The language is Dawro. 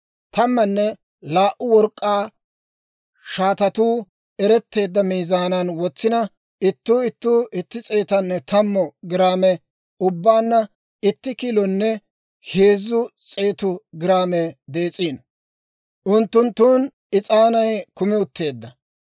Tammanne laa"u work'k'aa shaatatuu eretteedda miizaanan wotsina ittuu ittuu itti s'eetanne tammu giraame, ubbaanna itti kilonne heezzu s'eetu giraame dees'iino. Unttunttun is'aanay kumi utteedda.